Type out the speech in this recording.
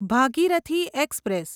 Bhagirathi express